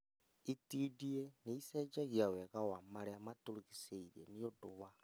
Itindiĩ nĩicenjagia wega na marĩa matũrigicĩirie nĩũndũ wa